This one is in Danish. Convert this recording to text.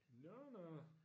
Nå nå